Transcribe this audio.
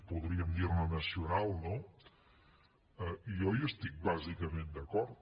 podríem dir ne nacional no jo hi estic bàsicament d’acord